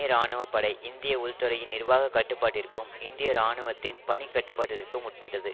இராணுவப்படை இந்திய உள்துறையின் நிர்வாக கட்டுப்பாட்டிற்கும் இந்திய இராணுவத்தின் பணிக்கட்டுப்பாட்டிற்கும் உட்பட்டது